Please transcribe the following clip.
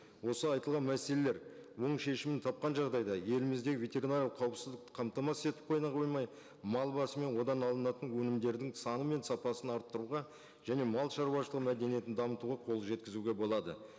осы айтылған мәселелер оң шешімін тапқан жағдайда елімізде ветеринарлық қауіпсіздікті қамтамасыз етіп қана қоймай мал басы мен одан алынатын өнімдердің саны мен сапасын арттыруға және малшаруашылығы мәдениетін дамытуға қол жеткізуге болады